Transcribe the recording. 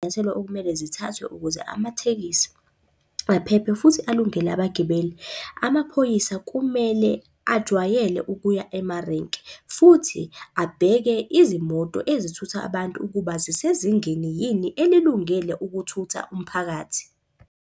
Iy'nyathelo okumele zithathwe ukuze amathekisi aphephe futhi alungele abagibeli. Amaphoyisa kumele ajwayele ukuya emarenke futhi abheke izimoto ezithutha abantu ukuba zisezingeni yini elungele ukuthutha umphakathi.